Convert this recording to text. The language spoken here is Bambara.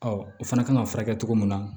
o fana kan ka furakɛ cogo min na